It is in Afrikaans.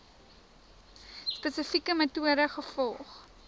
spesifieke metode gevolg